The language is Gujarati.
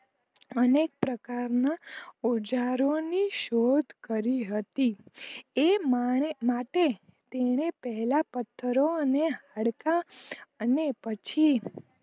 અનેક પ્રકાર ના ઓજારો ની શોધ કરી હતી એ માટે તેને પહેલા પથરો અન હાડકાં અને પછી